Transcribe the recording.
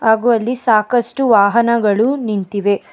ಹಾಗು ಅಲ್ಲಿ ಸಾಕಷ್ಟು ವಾಹನಗಳು ನಿಂತಿವೆ.